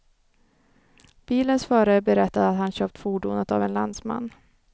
Bilens förare berättade att han köpt fordonet av en landsman.